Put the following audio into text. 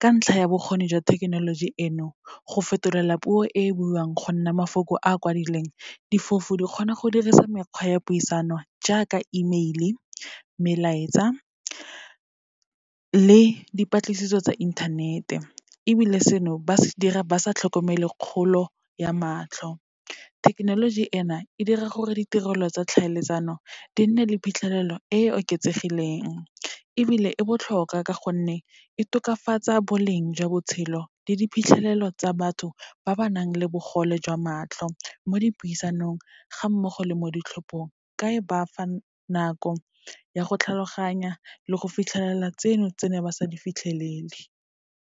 Ka ntlha ya bokgoni jwa thekenoloji eno, go fetolela puo e e buiwang go nna mafoko a kwadileng, difofu di kgona go dirisa mekgwa ya puisano jaaka email-e, melaetsa le dipatlisiso tsa inthanete, ebile seno ba se dira ba sa tlhokomele kgolo ya matlho. Thekenoloji ena, e dira gore ditirelo tsa tlhaeletsano di nne le phitlhelelo e e oketsegileng, ebile e botlhokwa ka gonne e tokafatsa boleng jwa botshelo le diphitlhelelo tsa batho ba ba nang le bogole jwa matlho, mo dipuisanong ga mmogo le mo ditlhophong, ka e ba fa nako ya go tlhaloganya le go fitlhelela tseno, tse neng ba sa di fitlhelele.